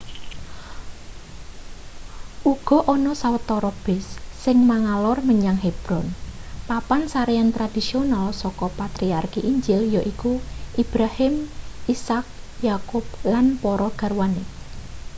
uga ana sawetara bus sing mangalor menyang hebron papan sarean tradisional saka patriarki injil yaiku ibrahim ishak yakub lan para garwane